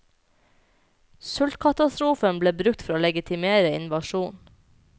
Sultkatastrofen ble brukt for å legitimere invasjonen.